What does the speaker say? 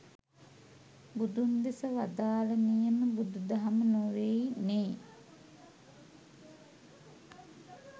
බුදුන් දෙස වදාළ නියම බුදු දහම නෙවෙයි නේ